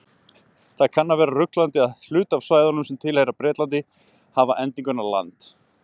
Það kann að vera ruglandi að hluti af svæðunum sem tilheyra Bretlandi hafa endinguna land.